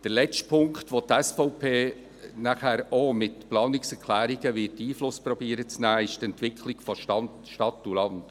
Der letzte Punkt, auf den die SVP auch mit Planungserklärungen Einfluss zu nehmen versucht, ist die Entwicklung von Stadt und Land.